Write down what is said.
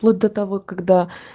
вплоть до того когда